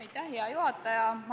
Aitäh, hea juhataja!